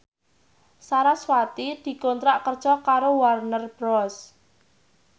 sarasvati dikontrak kerja karo Warner Bros